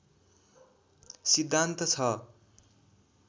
सिद्धान्त छ